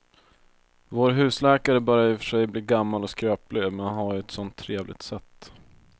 Vår husläkare börjar i och för sig bli gammal och skröplig, men han har ju ett sådant trevligt sätt!